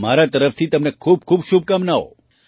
મારી તરફથી તમને ખૂબ ખૂબ શુભકામનાઓ